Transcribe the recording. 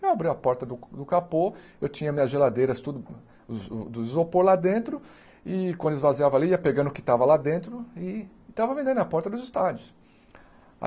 Eu abri a porta do do capô, eu tinha minhas geladeiras tudo, do isopor lá dentro, e quando esvaziava ali, ia pegando o que estava lá dentro e estava vendendo na porta dos estádios.